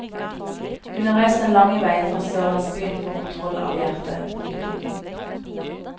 Hun har reist den lange veien fra sørlandsbyen for kontroll av hjertet. punktum